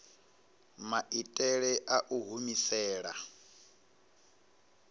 maitele a u i humisela